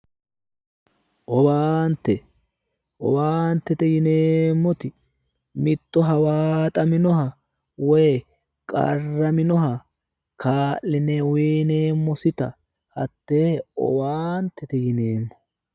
Owaante, owaantete yineemmoti mitto hawaaxaminoha woy qarraminoha kaa'line uyineemmota hattee owaantete yineemmo.